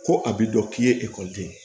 Ko a b'i dɔn k'i ye ekɔliden ye